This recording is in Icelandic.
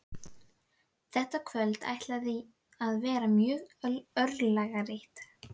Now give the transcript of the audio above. Þetta kvöld ætlar að verða mjög örlagaríkt.